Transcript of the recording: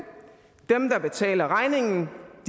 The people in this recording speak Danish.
dem der betaler regningen